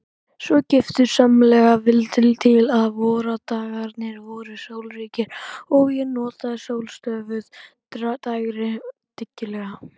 Svo giftusamlega vildi til að vordagarnir voru sólríkir og ég notaði sólstöfuð dægrin dyggilega.